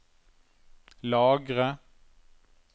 lagre